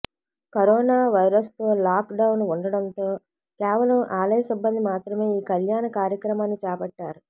corona వైరస్తో lockdown ఉండడంతో కేవలం ఆలయ సిబ్బంది మాత్రమే ఈ కళ్యాణ కార్యక్రమాన్ని చేపట్టారు